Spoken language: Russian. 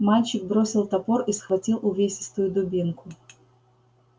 мальчик бросил топор и схватил увесистую дубинку